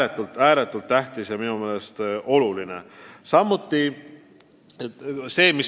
See on ääretult tähtis, ääretult oluline!